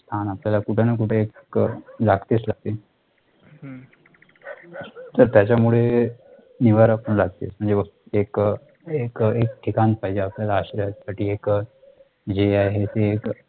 छान आपल्याला कुठे ना कुठे एक लागतेच लागते तर त्याचा मुळे निवारा पण लागतेच म्हणजे बघ एक अह एक ठिकाण पाहिजे आपल्याला आश्रया साठी एक अह जे आहे ते